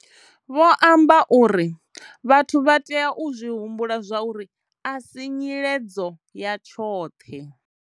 Vho amba uri. Vhathu vha tea u zwi humbula zwauri, a si nyiledzo ya tshoṱhe.